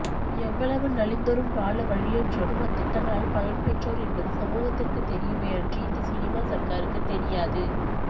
எவ்வளவு நலிந்தொரும் வாழ வழியற்றோரும் அத்திட்டங்களால் பலன் பெற்றோர் என்பது சமூகத்திற்கு தெரியுமே அன்றி இந்த சினிமா சர்க்காருக்கு தெரியாது